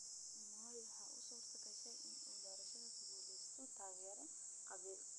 Moi waxa u suurtagashay in uu doorashada ku guulaysto taageero qabiil.